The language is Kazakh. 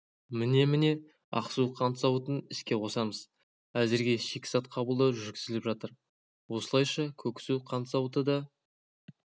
міне-міне ақсу қант зауытын іске қосамыз әзірге шикізат қабылдау жүргізіліп жатыр осылайша көксу қант зауыты да